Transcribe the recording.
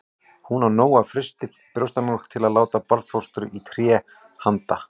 Hún á nóg af frystri brjóstamjólk til að láta barnfóstru í té handa